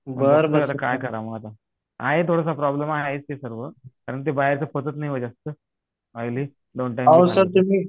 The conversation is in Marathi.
काय करावा आता आहे थोडासा प्रॉब्लेम आहे आता प्रॉब्लेम आहेच ते सर्व कारण ते बाहेरच पचत नाही हो जास्त ऑईली दोन टाइम